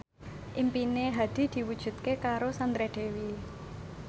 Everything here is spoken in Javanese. impine Hadi diwujudke karo Sandra Dewi